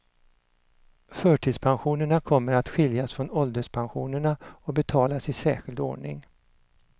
Förtidspensionerna kommer att skiljas från ålderspensionerna och betalas i särskild ordning.